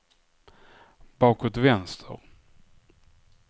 bakåt vänster